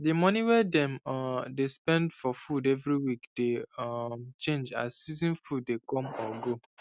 the money wey dem um dey spend for food every week dey um change as season food dey come or go